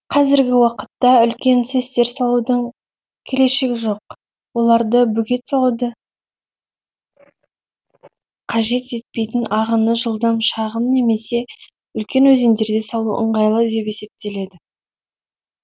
қазіргі уақытга үлкен сэс тер салудың келешегі жоқ оларды бөгет салуды қажет етпейтін ағыны жылдам шағын немесе үлкен өзендерде салу ыңғайлы деп есептеледі